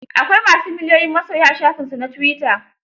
Akwai ma su miliyoyin masoya a shafinsu na tuwita.